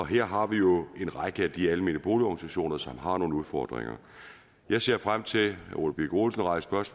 her har vi jo en række af de almene boligorganisationer som har nogle udfordringer jeg ser frem til herre ole birk olesen rejste også